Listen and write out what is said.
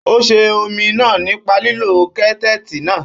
Ó sè omi náà nípa lílo kẹ́tẹ́ẹ̀tì náà.